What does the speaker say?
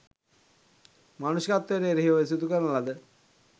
මානුෂිකත්වයට එරෙහිව සිදුකරන ලද